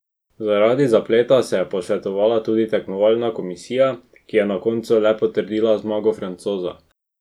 Zaradi zapleta se je posvetovala tudi tekmovalna komisija, ki je na koncu le potrdila zmago Francoza.